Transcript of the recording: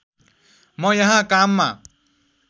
म यहाँ काममा